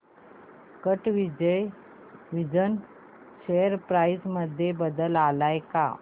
कॅटविजन share price मध्ये बदल आलाय का